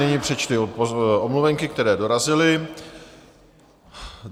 Nyní přečtu omluvenky, které dorazily.